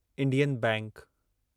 Indian bank